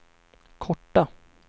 korta